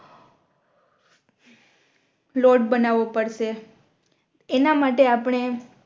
લોટ બનાવો પડશે એના માટે આપણે